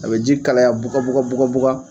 A bɛ ji kalaya bugabuga bugabuga